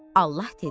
Allah dedi: